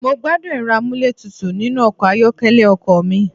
Mo gbádùn Ẹ̀rọ amúlétutù nínú ọkọ̀ ayọ́kẹ́lẹ́ ọkọ̀ mi.